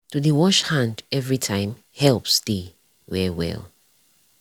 to dey wash hand everytime helps dey well well.